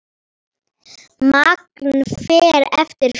Magn fer eftir fjölda.